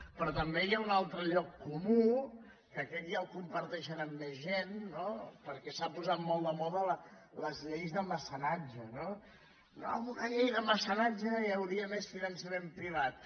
però també hi ha un altre lloc comú que aquest ja el comparteixen amb més gent no perquè s’ha posat molt de moda les lleis de mecenatge no no amb una llei de mecenatge hi hauria més finançament privat